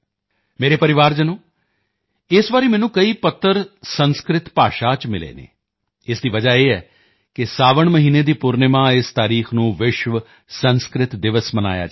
ਮੇਰੇ ਪਰਿਵਾਰਜਨੋ ਇਸ ਵਾਰੀ ਮੈਨੂੰ ਕਈ ਪੱਤਰ ਸੰਸਕ੍ਰਿਤ ਭਾਸ਼ਾ ਚ ਮਿਲੇ ਹਨ ਇਸ ਦੀ ਵਜ੍ਹਾ ਇਹ ਹੈ ਕਿ ਸਾਵਣ ਮਹੀਨੇ ਦੀ ਪੂਰਨਿਮਾ ਇਸ ਤਾਰੀਖ ਨੂੰ ਵਿਸ਼ਵ ਸੰਸਕ੍ਰਿਤ ਦਿਵਸ ਮਨਾਇਆ ਜਾਂਦਾ ਹੈ